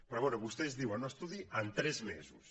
però bé vostès diuen un estudi en tres mesos